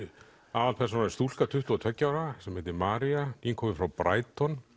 aðalpersónan er stúlka tuttugu og tveggja ára sem heitir María nýkomin frá